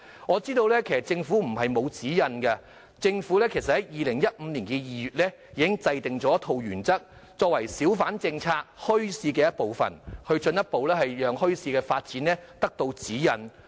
我知道政府不是沒有指引，政府在2015年2月已制訂一套原則，作為小販墟市政策進一步發展的指引。